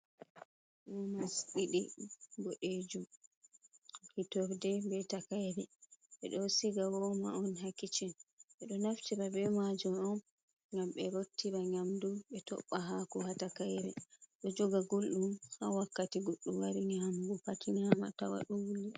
Womas ɗiɗi boɗejum, hitorde be takayre, ɓe ɗo siga voma on ha kiccin, ɓe ɗo naftira be majum on gam ɓe rottira gam bu be tobba haku hatakayre, ɗo joga gulɗum ha wakkati goɗɗu wari nyamugo pat nyama tawa guldum.